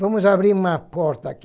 Vamos abrir uma porta aqui.